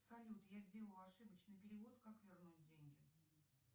салют я сделала ошибочный перевод как вернуть деньги